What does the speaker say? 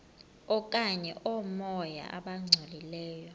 okanye oomoya abangcolileyo